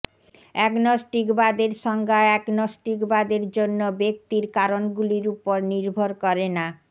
অ্যাগনস্টিকবাদের সংজ্ঞা অ্যাগনোস্টিকবাদের জন্য ব্যক্তির কারনগুলির উপর নির্ভর করে না